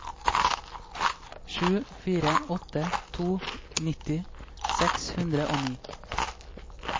sju fire åtte to nitti seks hundre og ni